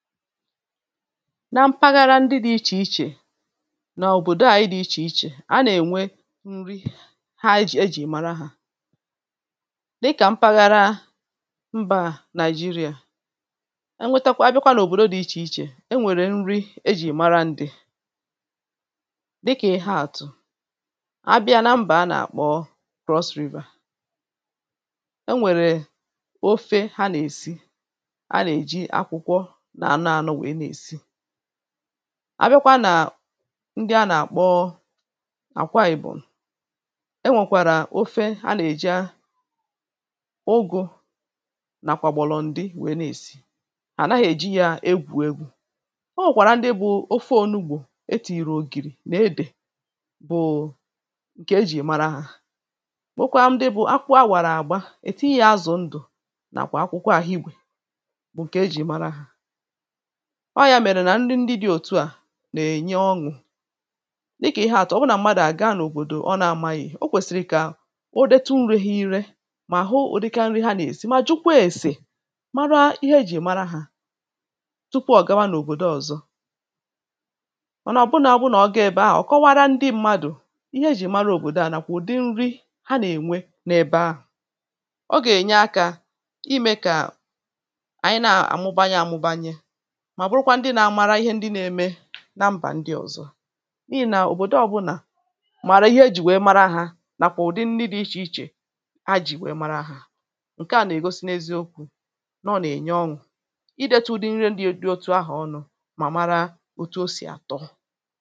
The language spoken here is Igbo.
na mpaghara ndị dị̇ ichè ichè n’òbòdò à anyị dị̇ ichè ichè, a na-ènwe nri ha ejì mara ha. dịkà mpaghara mbà nigeria enwetakwa, abịakwa n’òbòdò dị ichè ichè, enwèrè nri ejì mara ndị. dịkà ịha àtụ̀, abịa na mbà a nà-àkpọ̀ cross-reform. e nwèrè ofe ha nà-èsi àbịakwa nà ndị a nà-àkpọ àkwa ànyị bụ̀ e nwèkwàrà ofe a nà-èje ụgụ̇ nàkwàgbọlọ ndị wèe na-èsi à naghị̇ èji yȧ egwù egwu̇ o nwèkwàrà ndị bụ̇ ofe ònugbò etìrì ògìrì nà edè bụ̀ ǹkè e jì mara hȧ nwokwaa ndị bụ̀ akwụ a wàrà àgba èti yȧ azụ̀ ndụ̀ nàkwà akwụkwọ àhịrị igwè ọọ̇ ya mèrè nà nri ndị dị̇ òtu à nà-ènye ọṅụ̀ n’ikè ihe àtọ ọ̀bụnà m̀madụ̀ àga n’òbòdò ọ nȧ-amȧghị̀ o kwèsìrì ike ahụ̀ ọ̀ detu nrị̇ghi̇ irė mà àhụ ụ̀dịka nri ha nà-èsi mà jụkwa ẹ̀sẹ̀ mara ihe ejì mara hȧ tukwa ọ̀gawa n’òbòdo ọ̀zọ ọ̀nọ̀bụnȧ ọbụnà ọbụnà ọ gà-èbe ahụ̀ kọwara ndị mmadụ̀ ihe ejì mara òbòdo ànàkwụ̀ ụ̀dị nri ha nà-ènwe n’ebe ahụ̀ ọ gà-ènye akȧ imė kà ànyị na-àmụbanye àmụbanye na mbà ndị ọ̀zọ n’ihì nà òbòdo ọbụ̇nà màrà ihe ejì wèe mara ahȧ nàkwà ụ̀dị dị ịchì ịchè a jì wèe mara ahà ǹke à nà-ègosi n’eziokwu̇ nà ọ nà-ènye ọṅụ̀ ị deta ụdị nri ndị di otu ahụ̀ ọṅụ̇ mà mara ọtụ o sì àtọ